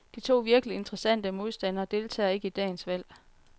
De to virkeligt interessante modstandere deltager ikke i dagens valg.